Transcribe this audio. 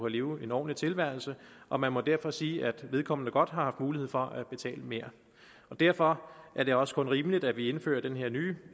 leve en ordentlig tilværelse og man må derfor sige at vedkommende godt har haft mulighed for at betale mere derfor er det også kun rimeligt at vi indfører den her nye